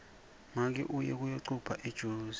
make uye kuyocupha ejozi